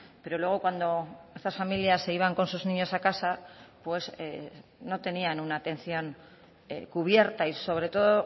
pero luego cuando estas familias se iban con sus niños a casa pues no tenían una atención cubierta y sobre todo